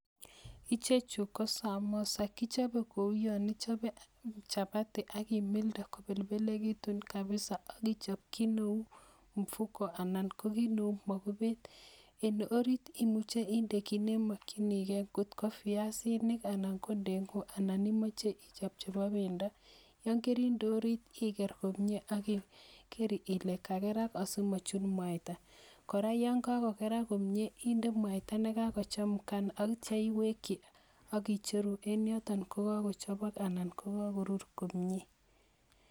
Ichochu kosamosa kichobe Kou yanichobe chapati akimildee komengekitunkabisa akichop ki Neu mabuket en orit imuche index ki nemakinigei kot ko viazinikana kobdengek anan imache ichop Nebo bendo, yekaridee orit Iger komie akiker komie simachut mwata, yangagogerak komie index mwaitanikakochemukanaita iwekiakicheru en yotonkokakochobok oh kakirur komie